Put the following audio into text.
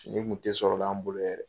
Ni kun tɛ sɔrɔ la an bolo yɛrɛ